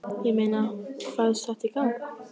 Ég meina, fæst þetta í gegn?